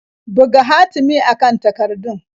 Buga hatimi a kan takardar.